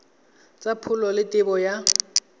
tsa pholo le tebo ya